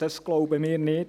Dies glauben wir nicht.